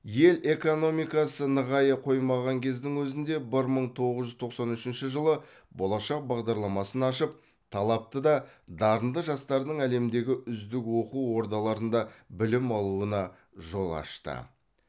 ел экономикасы нығая қоймаған кездің өзінде бір мың тоғыз жүз тоқсан үшінші жылы болашақ бағдарламасын ашып талапты да дарынды жастардың әлемдегі үздік оқу ордаларында білім алуына жол ашты